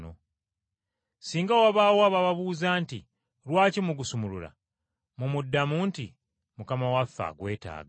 Singa wabaawo ababuuza nti, ‘Lwaki mugusumulula?’ Mumuddamu nti, ‘Mukama waffe agwetaaga.’ ”